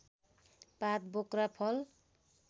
पात बोक्रा फल